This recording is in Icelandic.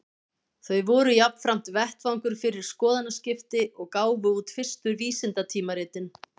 Þau voru jafnframt vettvangur fyrir skoðanaskipti, og gáfu út fyrstu vísindatímaritin.